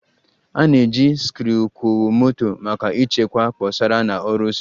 A na-eji sikruokwomoto maka ịchekwa kposara na ọrụ osisi